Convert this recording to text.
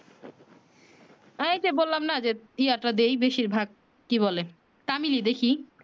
এই যে বললাম না যে ইয়া টা দেই বেশির ভাগ কি বলে তামিলই দেখি